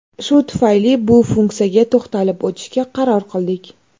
Shu tufayli bu funksiyaga to‘xtalib o‘tishga qaror qildik.